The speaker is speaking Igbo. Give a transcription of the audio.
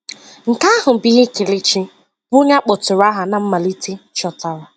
Nke ahụ bụ ihe Kelechi, bụ́ onye a kpọtụrụ aha ná mmalite, chọtara.